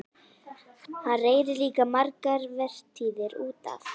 Hann reri líka margar vertíðir út af